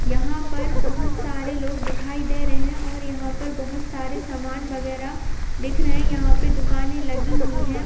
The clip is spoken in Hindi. यहाँं पर बहुत सारे लोग दिखाई दे रहे हैं और यहाँं पर बहुत सारे सामान वगैरह दिख रहे है यहाँं पर दुकाने लगी हुई है।